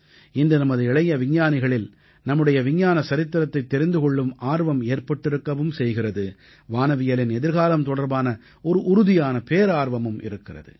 இன்று நமது இளைய விஞ்ஞானிகளில் நம்முடைய விஞ்ஞான சரித்திரத்தைத் தெரிந்து கொள்ளும் ஆர்வம் ஏற்பட்டிருக்கவும் செய்கிறது வானவியலின் எதிர்காலம் தொடர்பான ஒரு உறுதியான பேரார்வமும் இருக்கிறது